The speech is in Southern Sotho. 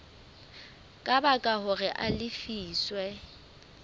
ka baka hore a lefiswe